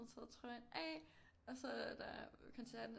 Og taget trøjen af og så er der koncerten er